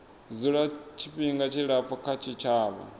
dzula tshifhinga tshilapfu kha tshitshavha